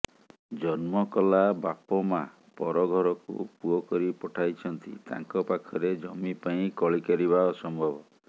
ଜନ୍ମକଲା ବାପ ମାଆ ପରଘରକୁ ପୁଅକରି ପଠାଇଛନ୍ତି ତାଙ୍କ ପାଖରେ ଜମି ପାଇଁ କଳିକରିବା ଅସମ୍ଭବ